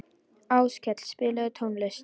Áskell, spilaðu tónlist.